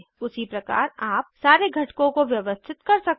उसीप्रकार आप सारे घटकों को व्यवस्थित कर सकते हैं